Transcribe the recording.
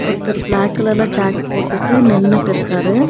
ஒருத்தர் பிளாக் கலர்ல ஜேக் போட்டுட்டு நின்னுட்டு இருக்காரு.